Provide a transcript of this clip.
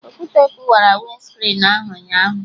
Okwute kụwara winscrin ahụ ụnyaahụ